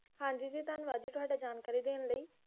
ਹਾਂਜੀ ਜੀ ਧੰਨਵਾਦ ਜੀ ਤੁਹਾਡਾ ਜਾਣਕਾਰੀ ਦੇਣ ਲਈ